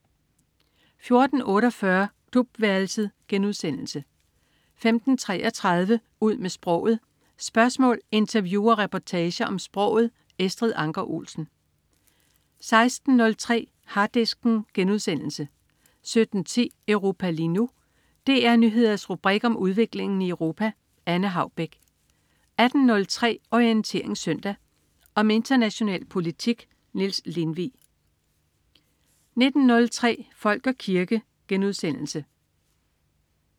14.48 Klubværelset* 15.33 Ud med sproget. Spørgsmål, interview og reportager om sproget. Estrid Anker Olsen 16.03 Harddisken* 17.10 Europa lige nu. DR Nyheders rubrik om udviklingen i Europa. Anne Haubek 18.03 Orientering Søndag. Om international politik. Niels Lindvig 19.03 Folk og kirke*